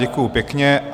Děkuji pěkně.